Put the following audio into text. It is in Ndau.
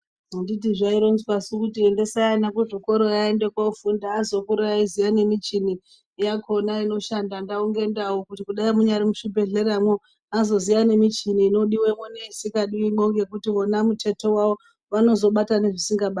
Anditi zvaironzwasu kuti endesai ana kuzvikorayo aende kofunda azokura eiziya nemichini yakona inoshanda ndau ngendau kuti kudai munyari muchibhedhleyamwo azoziya nemichini inodiwemwo neisikadiwimwo ngekuti wona mutete wawo vanozobata nezvisikabatwi.